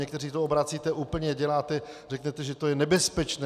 Někteří to obracíte úplně, děláte, řeknete, že je to nebezpečné.